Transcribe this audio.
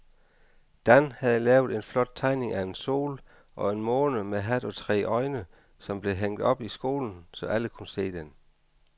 Dan havde lavet en flot tegning af en sol og en måne med hat og tre øjne, som blev hængt op i skolen, så alle kunne se den.